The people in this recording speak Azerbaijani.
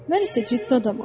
Mən isə ciddi adamam.